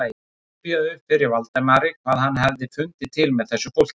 Það rifjaðist upp fyrir Valdimari hvað hann hafði fundið til með þessu fólki.